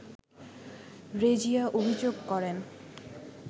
রেজিয়া অভিযোগ করেন